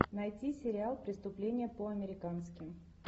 найти сериал преступление по американски